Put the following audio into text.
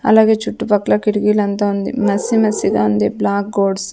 అలాగే చుట్టుపక్కల కిటికీలంతా ఉంది మెస్సీ మెస్సీ గా ఉంది బ్లాక్ గోడ్స్ --